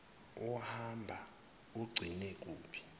uhamba ugcine kuphi